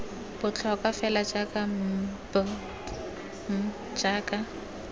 botlhokwa fela jaaka mbpm jaaka